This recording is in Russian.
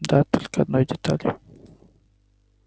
да только одной деталью